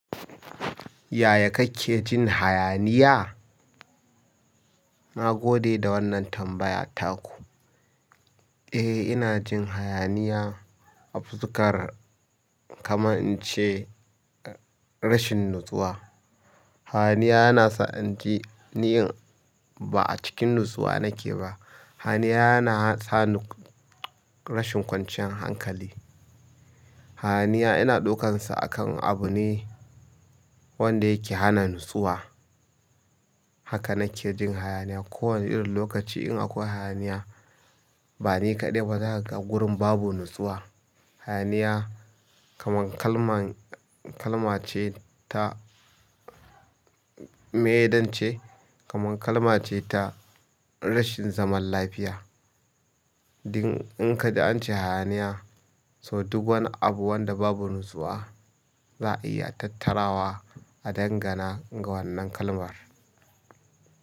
Yaya kake jin hayaniya? Na gode da waannan tambaya ta ku. Eh ina jin hayaniya a fuskar kamar in ce rashin natsuwa. Hayaniya yana sa in ji niyyan ba a cikin natsuwa nake ba. Hayaniya yana sa ni rashin kwanciyan hankali. Hayaniya ina ɗukansa akan abu ne wanda yake hana natsuwa. Haka na ke jin hayaniya. Ko wane irin lokaci in akwai hayaniya ba ni kaɗai ba zaka ga wurin babu natsuwa. Hayaniya kaman kalman, kalma ce, ta miye zan ce, kaman kalma ce ta rashin zaman lafiya. Dan in ka ji ance hayaniya so duk wani abu wanda babu natsuwa za a iya tattarawa a dangana ga wannan kalmar.